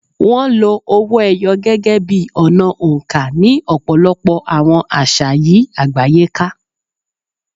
Wọ́n lo owó ẹyọ gẹ́gẹ́ bí ọ̀nà oǹkà ní ọ̀pọ̀lọpọ̀ àwọn àṣà yí àgbáyé ká.